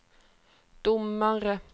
domare